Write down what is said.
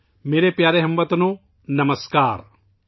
میرے پیارے ہم وطنو ، نمسکار !